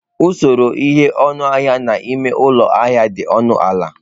Usoro ịnye ọnụahịa na eme ụlọ ahịa dị ọnụ ala.